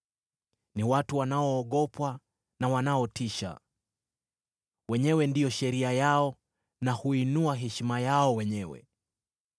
Ni watu wanoogopwa na wanaotisha; wenyewe ndio sheria yao, na huinua heshima yao wenyewe.